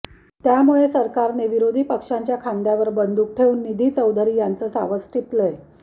त्यामुळे सरकारने विरोधी पक्षांच्या खांद्यावर बंदूक ठेवून निधी चौधरी यांचं सावज टिपलंय